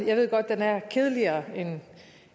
jeg ved godt den er kedeligere